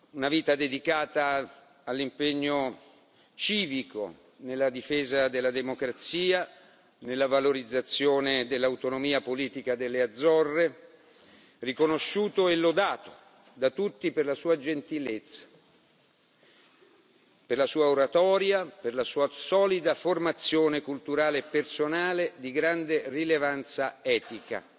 Una vita dedicata all'impegno civico nella difesa della democrazia, nella valorizzazione dell'autonomia politica delle Azzorre, riconosciuto e lodato da tutti per la sua gentilezza, per la sua oratoria, per la sua solida formazione culturale e personale di grande rilevanza etica.